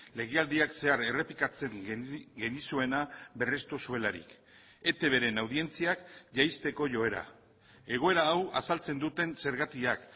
legealdiak zehar errepikatzen genizuena berrestu zuelarik etbren audientziak jaisteko joera egoera hau azaltzen duten zergatiak